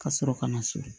Ka sɔrɔ ka na so